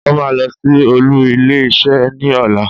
Ó máa lọ sí olú ilé isé ní ọ̀la